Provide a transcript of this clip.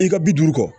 I ka bi duuru kɔ